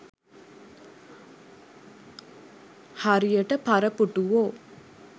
හරියට පරපුටුවෝ